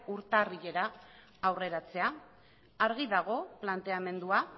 urtarrilera aurreratzea argi dago planteamendua